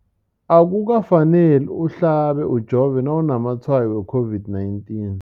Akuka faneli uhlabe, ujove nawu namatshayo we-COVID-19.